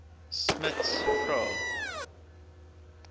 smuts vra